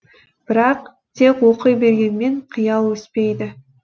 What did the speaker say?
бірақ тек оқи бергенмен қиял өспейді